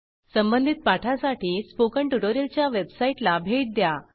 संबंधित पाठासाठी स्पोकन ट्युटोरियलच्या वेबसाईटला भेट द्या